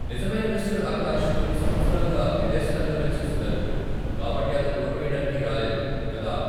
నిజమైన మిస్టర్ ఆకాష్ కొన్ని సంవత్సరాలుగా విదేశాల్లో నివసిస్తున్నారు, కాబట్టి అతను ఓటు వెయ్యడానికి రాలేదు, కదా ?